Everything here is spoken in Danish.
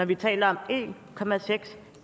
vi taler om en